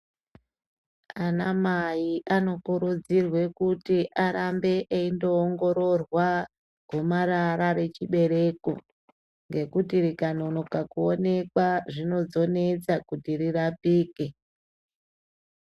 Ana mai anokurudzirwa kuti arambe eindoongororwa gomarara rechibereko ngekuti rikanonoka kuonekwa zvinozonetsa kuti rirapike .